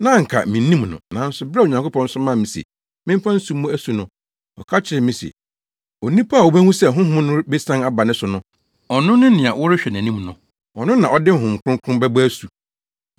Na anka minnim no, nanso bere a Onyankopɔn somaa me se memfa nsu mmɔ asu no, ɔka kyerɛɛ me se, ‘Onipa a wubehu sɛ Honhom no besian aba ne so no, ɔno ne nea worehwɛ nʼanim no. Ɔno na ɔde Honhom Kronkron bɛbɔ asu.’